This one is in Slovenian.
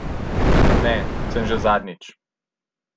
Ne, sem že zadnjič ...